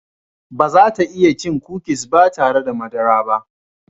Ba za ta iya cin kukis ba tare da madara ba.